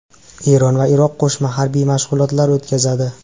Eron va Iroq qo‘shma harbiy mashg‘ulotlar o‘tkazadi.